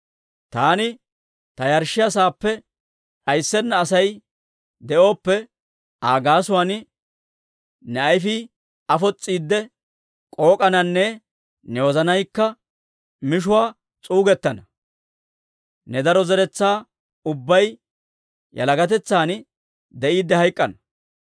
Taani ta yarshshiyaa saappe d'ayssenna Asay de'ooppe, Aa gaasuwaan ne ayfii afos's'iidde k'ook'ananne ne wozanaykka mishuwaa s'uugettana; ne daro zeretsaa ubbay yalagatetsan de'iidde hayk'k'ana.